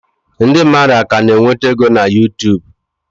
Ndị mmadụ ka na-enweta ego na Yutubu?